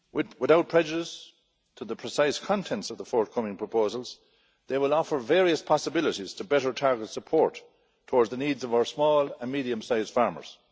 Without prejudice to the precise contents of the forthcoming proposals, they will offer various possibilities to better target support towards the needs of our small and medium sized farmers.